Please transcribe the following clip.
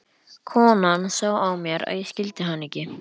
Konan sá á mér að ég skildi hana ekki.